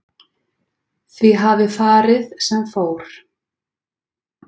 Því hafi farið sem fór